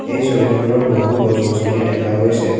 এই ছবিখনত বহু গছ গছনি দেখা গৈছে।